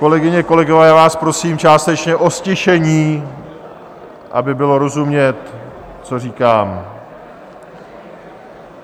Kolegyně, kolegové, já vás prosím částečně o ztišení, aby bylo rozumět, co říkám.